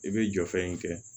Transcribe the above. I bɛ jɔ fɛn in kɛ